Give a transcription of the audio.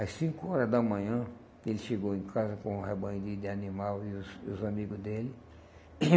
Às cinco horas da manhã, ele chegou em casa com um rebanho de de animal e os e os amigo dele.